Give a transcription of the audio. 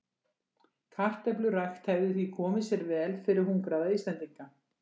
Kartöflurækt hefði því komið sér vel fyrir hungraða Íslendinga.